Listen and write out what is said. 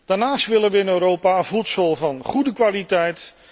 Daarnaast willen we in Europa voedsel van goede kwaliteit.